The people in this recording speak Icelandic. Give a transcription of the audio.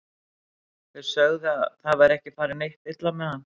Þeir sögðu að það væri ekki farið neitt illa með hann.